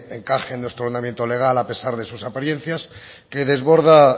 encaje en nuestro ordenamiento legal a pesar de sus apariencias que desborda